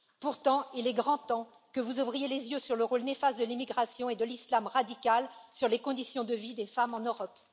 Pourtant, il est grand temps que vous ouvriez les yeux sur le rôle néfaste de l'immigration et de l'islam radical dans les conditions de vie des femmes en Europe.